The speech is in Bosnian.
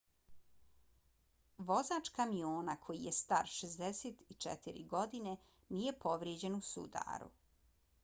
vozač kamiona koji je star 64 godine nije povrijeđen u sudaru